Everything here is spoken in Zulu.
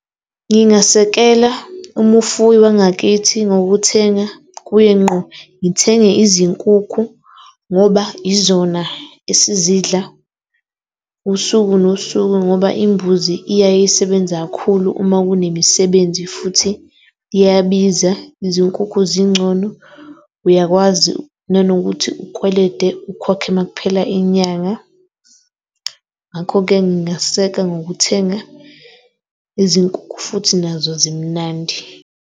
Ngingasekela umufuyi wangakithi ngokuthenga kuye ngqo. Ngithenge izinkukhu ngoba izona esizidla usuku nosuku. Ngoba imbuzi iyaye isebenza kakhulu uma kunemisibenzi futhi iyabiza. Izinkukhu zingcono, uyakwazi nanokuthi ukwelede ukhokhe uma kuphela inyanga, ngakho-ke ngingaseka ngokuthenga izinkukhu futhi nazo zimnandi.